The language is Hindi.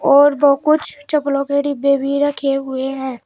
और वो कुछ चप्पलों के डिब्बे भी रखे हुए हैं।